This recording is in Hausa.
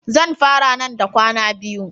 Zan fara nan da kwana biyu.